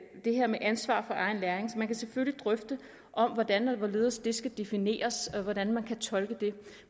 det her med ansvar for egen læring kan man selvfølgelig drøfte hvordan og hvorledes det skal defineres og hvordan man kan tolke det